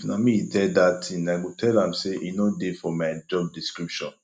if na me he tell dat thing i go tell am say e no dey for my job description